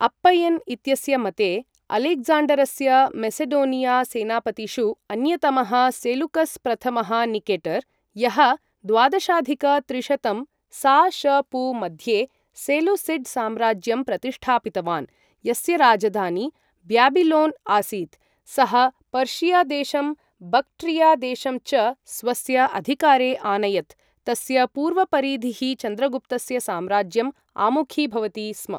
अप्पय्यन् इत्यस्य मते, अलेक्ज़ाण्डरस्य मेसेडोनिया सेनापतिषु अन्यतमः सेलूकस् प्रथमः निकेटर्, यः द्वादशाधिक त्रिशतं सा.श.पू. मध्ये सेलूसिड् साम्राज्यं प्रतिष्ठापितवान्, यस्य राजधानी ब्याबिलोन् आसीत्, सः पर्षिया देशं बक्ट्रिया देशं च स्वस्य अधिकारे आनयत्, तस्य पूर्वपरिधिः चन्द्रगुप्तस्य साम्राज्यम् आमुखीभवति स्म।